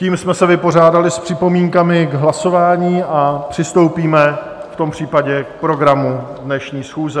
Tím jsme se vypořádali s připomínkami k hlasování a přistoupíme v tom případě k programu dnešní schůze.